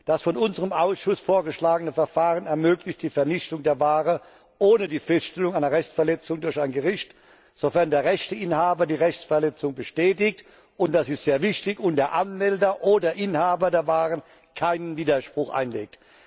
Das von unserem Ausschuss vorgeschlagene Verfahren ermöglicht die Vernichtung der Ware ohne die Feststellung einer Rechtsverletzung durch ein Gericht, sofern der Rechteinhaber die Rechtsverletzung bestätigt, und das ist sehr wichtig, und der Anmelder oder Inhaber der Waren keinen Widerspruch einlegt.